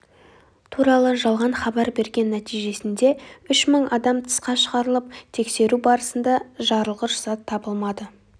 туралы жалған хабар берген нәтижесінде ұш мың адам тысқа шығарылып тексеру барысында жарылғыш зат табылмады